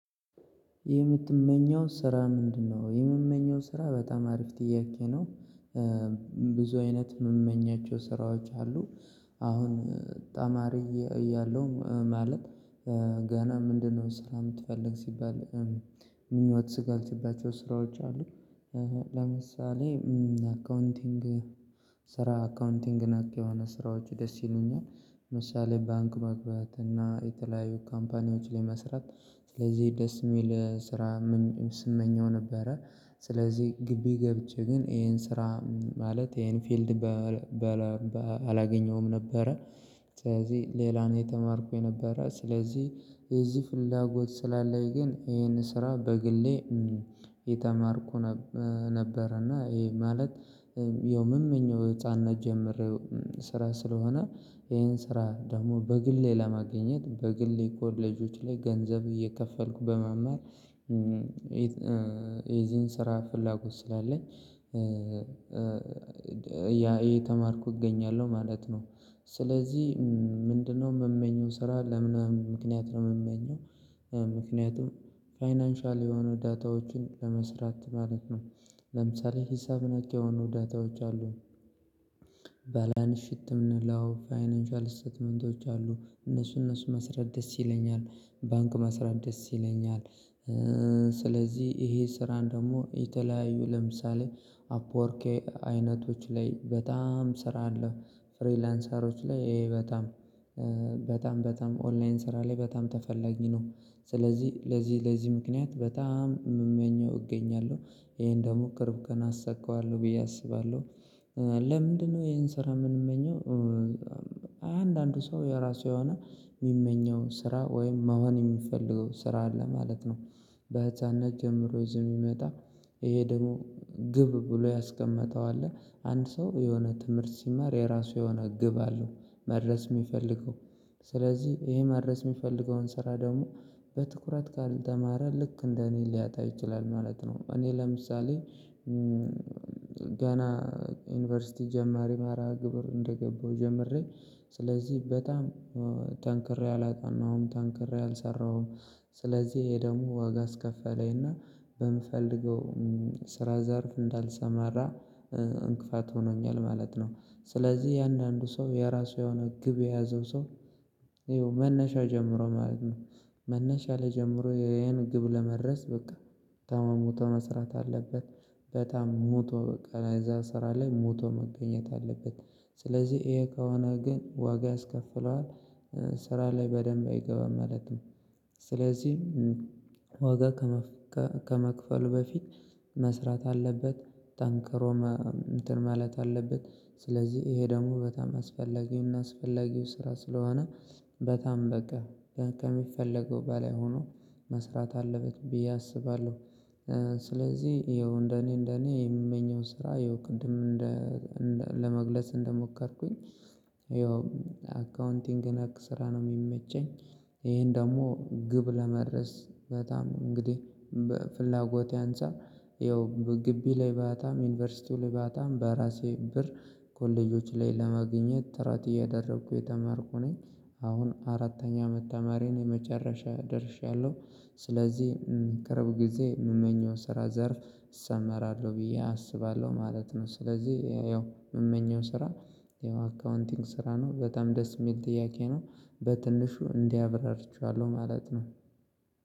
የምትመኘው ስራ ምንድነው? የምመኘው ስራ በጣም አሪፍ ጥያቄ ነው። ብዙ አይነት የምመኛቸው ስራዎች አሉ። አሁን ተማሪ እያለው ማለት ገና ምንድነው ስራ የምትፈልግ ሲባል ምኞት ካልሽባቸው ስራዎች አሉ። ለምሳሌ አካውንቲንግ ስራ አካውንቲንግ ነክ የሆነ ስራዎች ደስ ይሉኛል። ምሳሌ ባንክ መግባት እና የተለያዩ ካምፓኒዎች ላይ መስራት ስለዚህ ደስ የሚል ስራ። ስመኘው ነበረ ስለዚህ ግቢ ገብቼ ግን ይሄን ስራ ማለት ይሄን ፊልድ አላገኘሁም ነበረ። ስለዚህ ሌላ ነው እየተማርኩ የነበረ ስለዚህ የዚህ ፍላጎት ስላለኝ ግን ይሄን ስራ በግሌ እየተማርኩ ነበር እና ይሄ ማለት የምመኘው ህፃንነት ጀምሬው ስራ ስለሆነ ይሄን ስራ ደግሞ በግሌ ለማግኘት በግሌ ኮሌጆች ላይ ገንዘብ እየከፈልኩ በመማር የዚህን ስራ ፍላጎት ስላለኝ ያ እየተማርኩ እገኛለሁ ማለት ነው። ስለዚህ ምንድነው የምመኘው ስራ ለምን ምክንያት ነው የምመኘው? ምክንያቱም ፋይናንሻል የሆኑ ዳታዎችን ለመስራት ማለት ነው። ለምሳሌ ሂሳብ ነክ የሆኑ ዳታዎች አሉ። ባላንስ ሽት የምንለው ፋይናንሻል ስቴትመንቶች አሉ እነሱ እነሱ መስራት ደስ ይለኛል ባንክ መስራት ደስ ይለኛል። ስለዚህ ይሄ ስራን ደግሞ የተለያዩ ለምሳሌ አፕወርኬ አይነቶች ላይ በጣም ስራ አለ ፍሪላንሰሮች ላይ በጣም በጣም በጣም ኦንላይን ስራ ላይ በጣም ተፈላጊ ነው። ስለዚህ ለዚህ ለዚህ ምክንያት በጣም የምመኘው እገኛለሁ ይሄን ደግሞ ቅርብ ቀን አሳካዋለሁ ብዬ አስባለሁ። ለምንድነው ይሄን ስራ የምንመኘው? አንዳንዱ ሰው የራሱ የሆነ የሚመኘው ስራ ወይም መሆን የሚፈልገው ስራ አለ ማለት ነው። በህፃንነት ጀምሮ ይዞ የሚመጣ ይሄ ደግሞ ግብ ብሎ ያስቀመጠው አለ አንድ ሰው የሆነ ትምህርት ሲማር የራሱ የሆነ ግብ አለው። መድረስ የሚፈልገው ስለዚህ ይሄ መድረስ የሚፈልገውን ስራ ደግሞ በትኩረት ካልተማረ ልክ እንደ እኔ ሊያጣ ይችላል ማለት ነው። እኔ ለምሳሌ ገና ዩኒቨርሲቲ ጀማሪ መርሃግብር እንደገባው ጀምሬ ስለዚህ በጣም ጠንክሬ አላጠናሁም ጠንክሬ አልሰራሁም። ስለዚህ ይሄ ደግሞ ዋጋ አስከፈለኝ እና በምፈልገው ስራ ዘርፍ እንዳልሰማራ እንቅፋት ሆኖኛል ማለት ነው። ስለዚህ እያንዳንዱ ሰው የራሱ የሆነ ግብ የያዘው ሰው ይኸው መነሻ ጀምሮ ማለት ነው መነሻ ላይ ጀምሮ ይሄን ግብ ለመድረስ በቃ ታሟሙቶ መስራት አለበት ሙቶ በቃ የዛ ስራ ላይ ሙቶ መገኘት አለበት። ስለዚህ ይሄ ከሆነ ግን ዋጋ ያስከፍለዋል ስራ ላይ በደንብ አይገባም ማለት ነው። ስለዚህ ዋጋ ከመክፈል በፊት መስራት አለበት ጠንክሮም ማለት አለበት ስለዚህ ይሄ ደግሞ በጣም አስፈላጊው እና አስፈላጊው ስራ ስለሆነ በጣም በቃ ከሚፈለገው በላይ ሆኖ መስራት አለበት ብዬ አስባለሁ። ስለዚህ ይኸው እንደኔ እንደኔ የምመኘው ስራ ይኸው ቅድም እንደ ለመግለጽ እንደሞከርኩኝ ይኸው አካውንቲንግ ነክ ስራ ነው የሚመቸኝ። ይሄን ደግሞ ግብ ለመድረስ በጣም እንግዲህ በፍላጎቴ አንፃር ያው በግቢ ላይ ባጣም ዩኒቨርሲቲው ላይ ባጣም በራሴ ብር ኮሌጆች ላይ ለማግኘት ጥረት እያደረኩ እየተማርኩ ነኝ። አሁን አራተኛ አመት ተማሪ ነኝ የመጨረሻ ላይ ደርሻለሁ። ስለዚህ ቅርብ ጊዜ የምመኘው ስራ ዘርፍ እሰማራለሁ ብዬ አስባለሁ ማለት ነው። ስለዚህ ያው የምመኘው ስራ ያው አካውንቲንግ ስራ ነው በጣም ደስ የሚል ጥያቄ ነው። በትንሹ እንዲ አብራርቸዋለሁ ማለት ነው።